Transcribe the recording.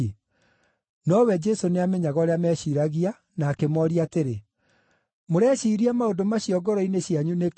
Nowe Jesũ nĩamenyaga ũrĩa meeciiragia na akĩmooria atĩrĩ, “Mũreciiria maũndũ macio ngoro-inĩ cianyu nĩkĩ?